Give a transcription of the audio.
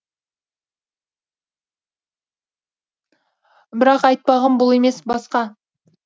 бірақ айтпағым бұл емес басқа